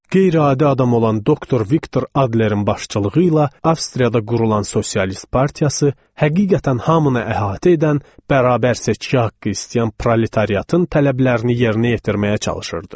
Qeyri-adi adam olan doktor Viktor Adlerin başçılığı ilə Avstriyada qurulan sosialist partiyası həqiqətən hamını əhatə edən, bərabər seçki haqqı istəyən proletarın tələblərini yerinə yetirməyə çalışırdı.